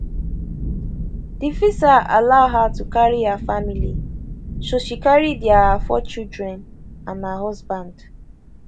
di visa allow her to carry her family so she carry dia four children and her husband